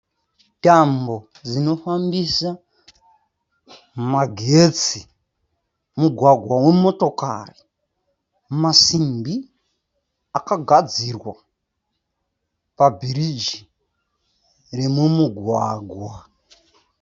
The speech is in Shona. Tambo dzinofambisa magetsi. Mugwagwa wemotokari. Masimbi akagazirwa pa bhiriji remu mugwagwa.